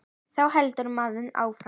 Þá heldur maður áfram.